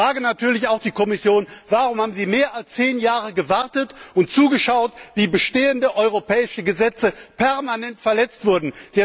Ich frage natürlich auch die Kommission Warum haben Sie mehr als zehn Jahre gewartet und zugeschaut, wie bestehende europäische Gesetze permanent verletzt wurden?